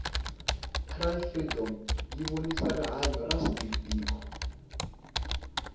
cry freedom yivonisa rihhanya ra steve biko